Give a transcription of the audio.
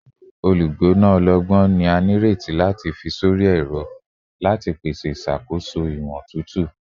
Olugbona ọlọgbọn ni a nireti lati fi sori ẹrọ, pese iṣakoso iwọn otutu